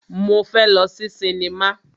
Mo fẹ́ lọ sí sinimá.